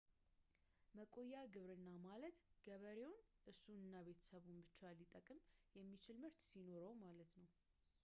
መቆያ ግብርና ማለት ገበሬውን እሱን እና ቤተሰቡን ብቻ ሊጠቅም የሚችል ምርት ሲኖረው ማለት ነው